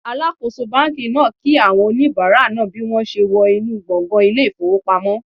Alakoso banki naa ki awon onibara naa bi won se wo inu gbongan ile ifowopamo